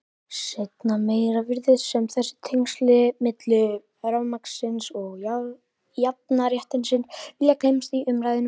Seinna meir virðist sem þessi tengsl milli rafmagnsins og jafnréttisins vilji gleymast í umræðunni.